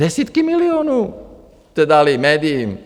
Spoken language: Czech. Desítky milionů jste dali médiím!